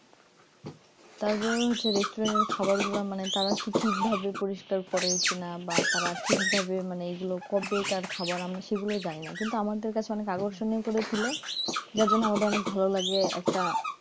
তারপর হচ্ছে restaurant এর খাবার গুলা মানে তারা কি ঠিকভাবে পরিষ্কার করে কিনা বা তারা ঠিকভাবে মানে এগুলো কবেকার খাবার আমি সেগুলো জানি না কিন্তু আমাদের কাছে অনেক আকর্ষণীয় করে তুলে যার জন্য আমাদের অনেক ভালো লাগে একটা